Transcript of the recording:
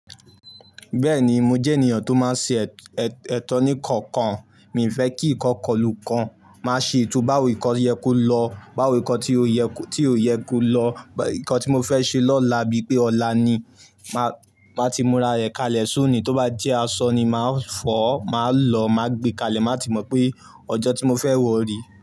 Bẹ́ẹ̀ni, mo jẹ́ ènìyàn tó máa ń ṣe ẹ̀tọ́ ní ǹkan kan. Mii fẹ́ kí ikan kọlu kan. Máa ṣe ètò báwo ǹkan yẹ kó lọ, báwo ǹkan tí ó, ti oo yẹ kó lọ. Ǹkan tí mo fẹ́ ṣe lọ́la bíi pé ọ̀la ni, màá, maa ti múra rẹ̀ kalẹ̀ so ni. Tó bá jẹ́ asọ ni, màá fọ̀ ọ́, màá lọ, màá gbe kalẹ̀, màá ti mọ̀ pé ọjọ́ tí mo fẹ́ wọ̀ re.